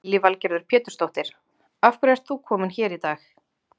Lillý Valgerður Pétursdóttir: Af hverju ert þú kominn hér í dag?